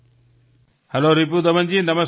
hello રિપુદમનજી નમસ્કાર